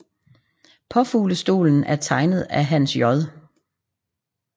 Påfuglestolen er tegnet af Hans J